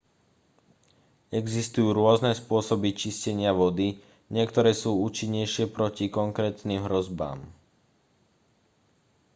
existujú rôzne spôsoby čistenia vody niektoré sú účinnejšie proti konkrétnym hrozbám